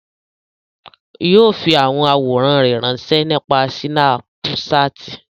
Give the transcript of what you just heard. O yóò fi awọn aworan ranṣẹ nipasẹ Sinapuṣati.